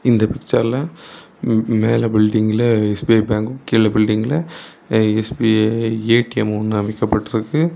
இந்த பிச்சர்ல மேல பில்டிங்கில்ல எஸ்_பி_ஐ பேங்க் கீழ பில்டிங்கில்ல எஸ்_பி_ஐ ஏ_ டி_எம் ஒன்னு அமைக்கப்பட்டிருக்கு.